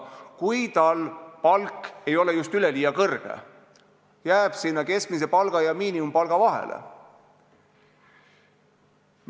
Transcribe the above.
Seda siis, kui tal palk ei ole just üleliia kõrge, jääb sinna keskmise palga ja miinimumpalga vahele.